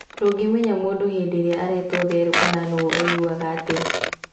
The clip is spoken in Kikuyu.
Ndũngĩmenya mũndũ hĩndĩ ïrĩa aretwo therũ kana nũgũ aiguaga atĩa